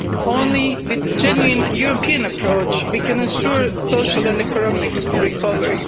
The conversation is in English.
Only with a genuine European approach we can assure social and economic recovery.